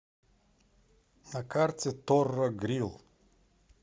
на карте торро грил